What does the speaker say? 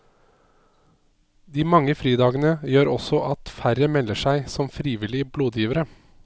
De mange fridagene gjør også at færre melder seg som frivillige blodgivere.